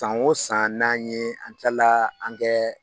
San o san n'an ye an kila an kɛ